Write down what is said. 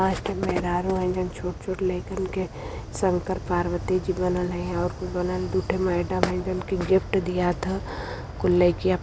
पांच ठे मेहरारू हईं जवन छोट छोट लैकिया के शंकर पार्वती बनल हईं कुल गिफ्ट दियात ह कुल लैकिया --